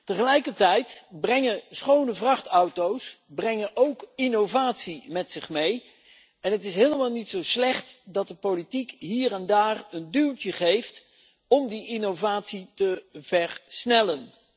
Tegelijkertijd brengen schone vrachtauto's ook innovatie met zich mee. Het is helemaal niet zo slecht dat de politiek hier en daar een duwtje geeft om die innovatie te versnellen.